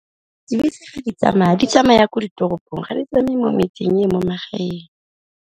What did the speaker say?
Dibese fa di tsamaya di tsamaya ko ditoropong ga di tsamaye mo metseng e mo magaeng.